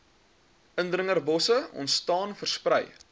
indringerbosse ontstaan versprei